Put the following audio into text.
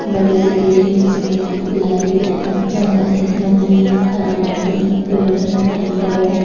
बड़ी-सी बिल्डिंग है सीमेंट की पिलर ही पिलर है जंगल है नदी है हरे पर्दे है पेड़ है हरे पेड़ है।